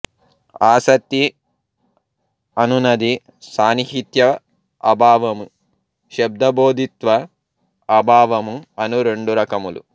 ఆసత్తి అనునది సన్నిహిత్య అభావము శబ్దబోధిత్వ అభావము అను రెండు రకములు